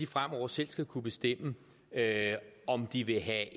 fremover selv skal kunne bestemme om de vil have